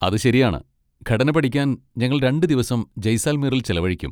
അത് ശരിയാണ്! ഘടന പഠിക്കാൻ ഞങ്ങൾ രണ്ട് ദിവസം ജയ്സാൽമീറിൽ ചെലവഴിക്കും.